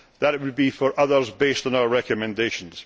That would be for others, based on our recommendations.